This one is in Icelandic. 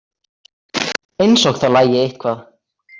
Eins og það lagi eitthvað.